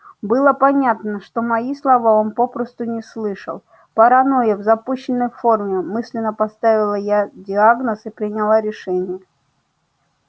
было понятно что мои слова он попросту не слышал паранойя в запущенной форме мысленно поставила я диагноз и приняла решение